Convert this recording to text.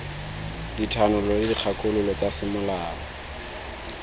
dithanolo le dikgakololo tsa semolao